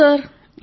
అవును సర్